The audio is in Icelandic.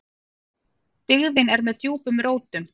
Dyggðin er með djúpum rótum.